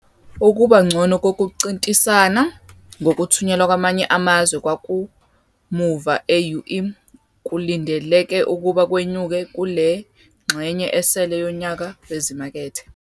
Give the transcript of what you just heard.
Ukuba ngcono kokuncintisana ngokuthunyelwa kwamanye amazwe kwakamuva e-EU kulindeleke ukuba kwenyuke kule ngxenye esele yonyaka wezimakethe.